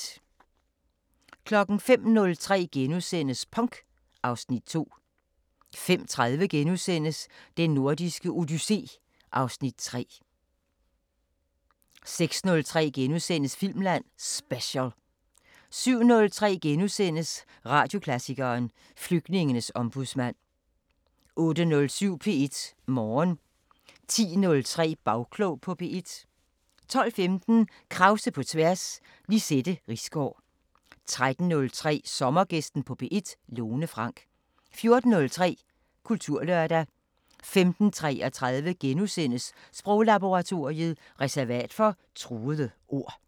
05:03: Punk (Afs. 2)* 05:30: Den Nordiske Odyssé (Afs. 3)* 06:03: Filmland Special * 07:03: Radioklassikeren: Flygtningens ombudsmand * 08:07: P1 Morgen 10:03: Bagklog på P1 12:15: Krause på tværs: Lizette Risgaard 13:03: Sommergæsten på P1: Lone Frank 14:03: Kulturlørdag 15:33: Sproglaboratoriet: Reservat for truede ord *